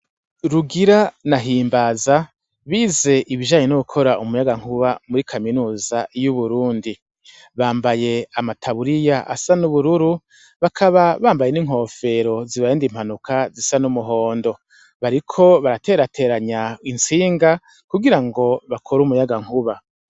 Rugira na Himbaza bize ibijanye no gukora umuyagankuba muri kaminuza y'Uburundi bambaye amataburiya asa n'ubururu bakaba bambaye n'inkofero zibarinda impanuka zisa n'umuhondo, bariko baraterateranya intsinga kugira ngo bakore imuyagankuba.